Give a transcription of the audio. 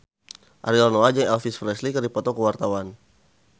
Ariel Noah jeung Elvis Presley keur dipoto ku wartawan